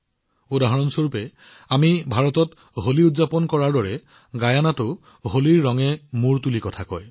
উদাহৰণ স্বৰূপে আমি ভাৰতত হোলী উদযাপন কৰো গিয়েনাতো হোলীৰ ৰংবোৰ উৎসাহেৰে জীৱন্ত হৈ পৰে